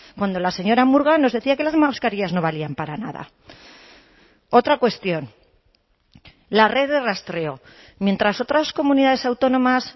cuando la señora murga nos decía que las mascarillas no valían para nada otra cuestión la red de rastreo mientras otras comunidades autónomas